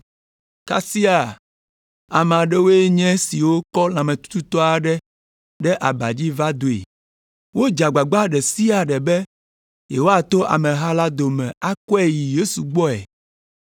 Kasia, ame aɖewoe nye esiwo kɔ lãmetututɔ aɖe ɖe aba dzi va doe. Wodze agbagba ɖe sia ɖe be yewoato ameha la dome akɔe yi Yesu gbɔe,